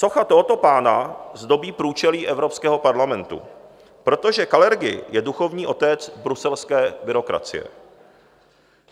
Socha tohoto pána zdobí průčelí Evropského parlamentu, protože Kalergi je duchovní otec bruselské byrokracie.